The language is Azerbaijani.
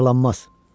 Yaralanmaz.